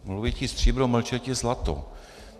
Mluvit stříbro, mlčeti zlato.